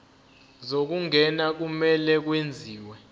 zokungena kumele kwenziwe